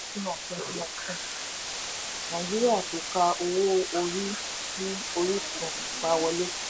sina twenty nineteen nàìjíríà kò ka owó orí sí orísun ìpawọlé.